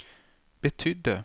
betydde